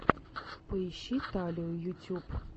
поищи талию ютюб